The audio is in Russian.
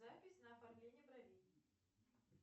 запись на оформление бровей